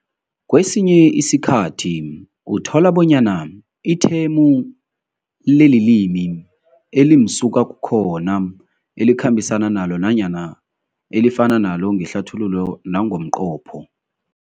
Kwesinye isikhathi uthola bonyana ithemu lelilimi elimsuka kukhona elikhambisana nalo nanyana elifana nalo ngehlathululo nangomqopho.